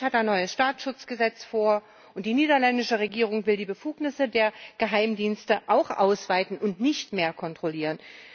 Österreich hat ein neues Staatsschutzgesetz vor, und die niederländische Regierung will die Befugnisse der Geheimdienste auch ausweiten und nicht mehr kontrollieren.